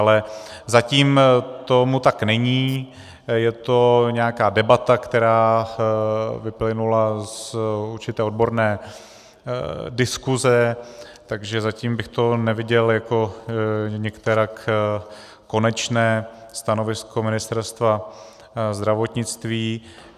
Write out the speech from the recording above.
Ale zatím tomu tak není, je to nějaká debata, která vyplynula z určité odborné diskuse, takže zatím bych to neviděl jako nikterak konečné stanovisko Ministerstva zdravotnictví.